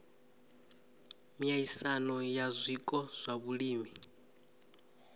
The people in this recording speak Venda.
miaisano ya zwiko zwa vhulimi